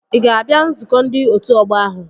Ị ga-abịa nzukọ ndị otu ọgbọ ahụ?